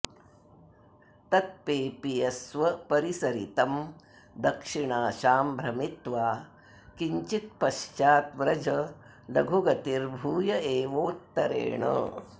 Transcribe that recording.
तत्पेपीयस्व परिसरितं दक्षिणाशां भ्रमित्वा किञ्चित्पश्चाद् व्रज लघुगतिर्भूय एवोत्तरेण